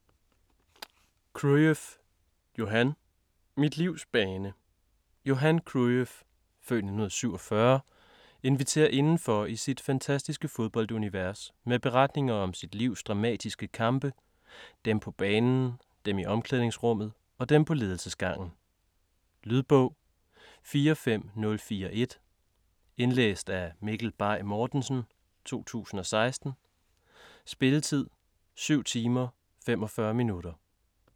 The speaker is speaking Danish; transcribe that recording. Cruyff, Johan: Mit livs bane Johan Cruyff (f. 1947) inviterer indenfor i sit fantastiske fodboldunivers med beretninger om sit livs dramatiske kampe: dem på banen, dem i omklædningsrummet og dem på ledelsesgangen. Lydbog 45041 Indlæst af Mikkel Bay Mortensen, 2016. Spilletid: 7 timer, 45 minutter.